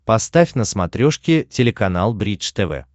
поставь на смотрешке телеканал бридж тв